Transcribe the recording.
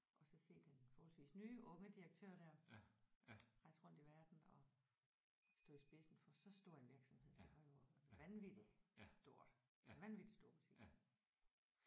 Og så se den forholdsvis nye unge direktør der rejse rundt i verden og stå i spidsen for så stor en virksomhed det var jo vanvittigt stort en vanvittig stor butik